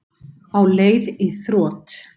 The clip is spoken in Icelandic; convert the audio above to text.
Á leið í þrot